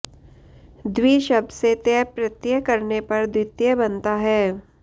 द्वि शब्द से तय प्रत्यय करने पर द्वितय बनता है